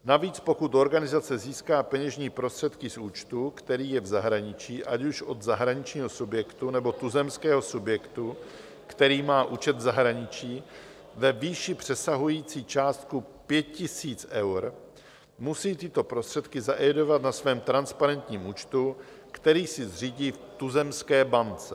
Navíc, pokud organizace získá peněžní prostředky z účtu, který je v zahraničí, ať už od zahraničního subjektu, nebo tuzemského subjektu, který má účet v zahraničí, ve výši přesahující částku 5 000 eur, musí tyto prostředky zaevidovat na svém transparentním účtu, který si zřídí v tuzemské bance.